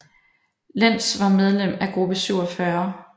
Lenz var medlem af Gruppe 47